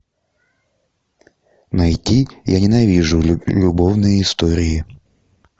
найди я ненавижу любовные истории